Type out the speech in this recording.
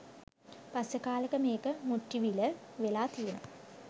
පස්සේ කාලෙක මේක “මුට්ටිවිල“ වෙලා තියෙනවා.